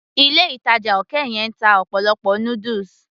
ilé ìtàjà òkè yẹn ń ta ọ̀pọ̀lọpọ̀ noodles